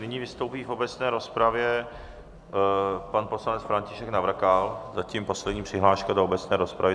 Nyní vystoupí v obecné rozpravě pan poslanec František Navrkal, zatím poslední přihláška do obecné rozpravy.